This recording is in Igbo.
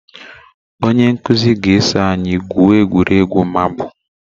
Onye nkụzi ga eso anyị gwuoọ egwuregwu marbụ.